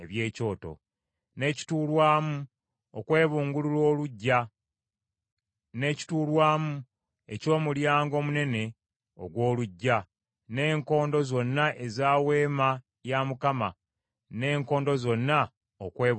n’ekituurwamu okwebungulula oluggya, n’ekituurwamu eky’omulyango omunene ogw’oluggya, n’enkondo zonna ez’Eweema, n’enkondo zonna okwebungulula oluggya.